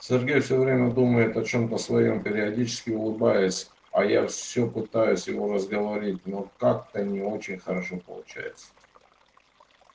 сергей всё время думает о чем-то своём периодически улыбаясь а я всё пытаюсь его разговорить но как-то не очень хорошо получается